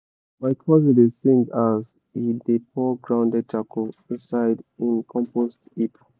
my cousin dey sing as he as he dey pour grounded charcoal inside him compost heap.